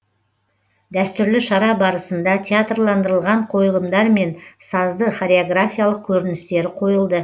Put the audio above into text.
дәстүрлі шара барысында театрландырылған қойылымдар мен сазды хореографиялық көріністері қойылды